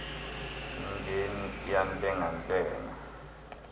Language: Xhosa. mingeni iyantenga ntenga